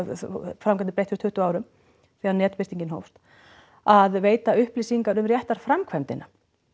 framkvæmdinni breytt tuttugu árum þegar hófst að veita upplýsingar um réttarframkvæmdina